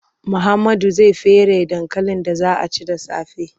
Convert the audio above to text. Muhammadu zai feraye dankalin da za a ci da safe.